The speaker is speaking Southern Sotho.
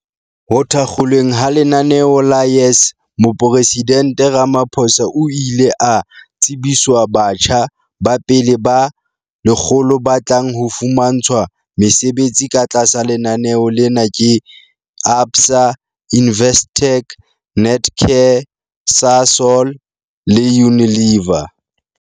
Ho thakgolweng ha lenaneo la YES Moporesidente Ramaphosa o ile a tsebiswa batjha ba pele ba 100 ba tlang ho fumantshwa mesebetsi ka tlasa lenaneo lena ke ABSA, Investec, Netcare, Sasol le Unilever.